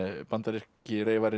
bandaríski